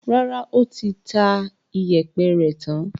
Rárá, ó ti ta ìyẹ̀pẹ̀ rẹ̀ tán.